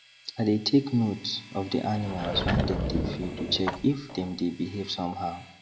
i dey take note of the animals when dem dey feed to check if dem dey behave somehow